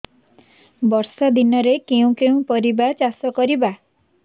ବର୍ଷା ଦିନରେ କେଉଁ କେଉଁ ପରିବା ଚାଷ କରିବା